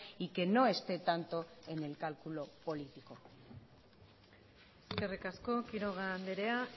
y que no esté tanto en el cálculo político eskerrik asko quiroga andrea